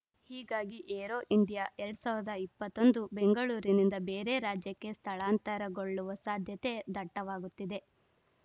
ಹೀಗಾಗಿ Aero India ಎರಡ್ ಸಾವಿರದ ಇಪ್ಪತ್ತ್ ಒಂದು ಬೆಂಗಳೂರಿನಿಂದ ಬೇರೆ ರಾಜ್ಯಕ್ಕೆ ಸ್ಥಳಾಂತರಗೊಳ್ಳುವ ಸಾಧ್ಯತೆ ದಟ್ಟವಾಗುತ್ತಿದೆ